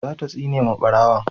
za ta tsine ma barawon